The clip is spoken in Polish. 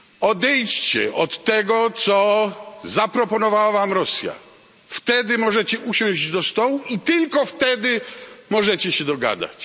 Odejdźcie od tego, co zaproponowała Wam Rosja, wtedy możecie usiąść do stołu i tylko wtedy możecie się dogadać.